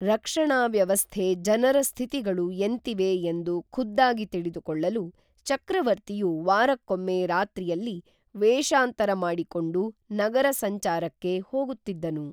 ರಕ್ಷಣಾವ್ಯವಸ್ಥೆ ಜನರ ಸ್ಥಿತಿಗಳು ಎಂತಿವೆ ಎಂದು ಖುದ್ದಾಗಿ ತಿಳಿದು ಕೊಳ್ಳಲು ಚಕ್ರವರ್ತಿಯು ವಾರಕ್ಕೊಮ್ಮೆ ರಾತ್ರಿಯಲ್ಲಿ ವೇಷಾಂತರ ಮಾಡಿಕೊಂಡು ನಗರ ಸಂಚಾರಕ್ಕೇ ಹೋಗುತ್ತಿದ್ದನು